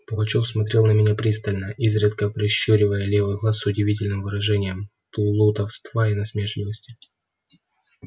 пугачёв смотрел на меня пристально изредка прищуривая левый глаз с удивительным выражением плутовства и насмешливости